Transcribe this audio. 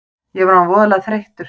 Ég var orðinn voðalega þreyttur.